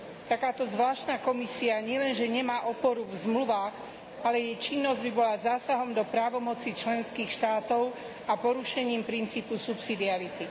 Takáto zvláštna komisia nielenže nemá oporu v zmluvách, ale jej činnosť by bola zásahom do právomocí členských štátov a porušením princípu subsidiarity.